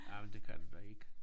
Jamen det kan du da ikke